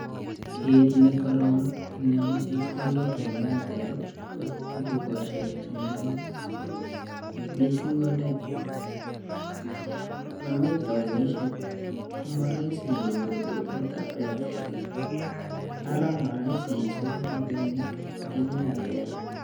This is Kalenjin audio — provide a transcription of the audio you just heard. Kiit nekoro inemu chepkondok ing' Airtel ko dukosiek cheng'ering' miising' ole mami taunisiek ko marahisi inyoru duket ap Airtel ara marahisi icheru rabinik ing' Airtel